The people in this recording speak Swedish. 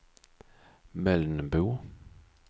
Mölnbo